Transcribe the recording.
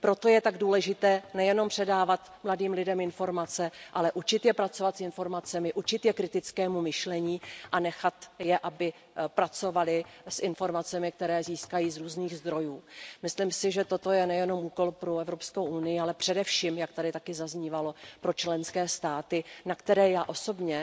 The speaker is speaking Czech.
Proto je tak důležité nejenom předávat mladým lidem informace, ale učit je pracovat s informacemi, učit je kritickému myšlení a nechat je, aby pracovali s informacemi, které získají z různých zdrojů. Myslím si, že toto je nejenom úkol pro Evropskou unii, ale především, jak tady taky zaznívalo, pro členské státy, na které já osobně